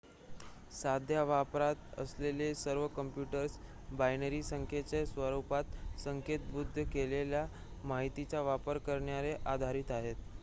सध्या वापरात असलेले सर्व काँप्युटर्स बायनरी संख्येच्या स्वरुपात संकेतबद्ध केलेल्या माहितीचा वापर करण्यावर आधारित आहेत